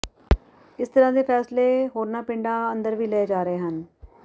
ਇਸ ਤਰ੍ਹਾਂ ਦੇ ਫੈਸਲੇ ਹੋਰਨਾਂ ਪਿੰਡਾਂ ਅੰਦਰ ਵੀ ਲਏ ਜਾ ਰਹੇ ਹਨ